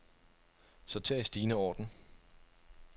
Sorter i stigende orden.